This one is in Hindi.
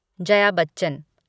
जया बच्चन